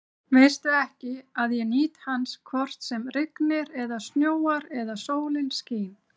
Veistu ekki, að ég nýt hans hvort sem rignir eða snjóar eða sólin skín?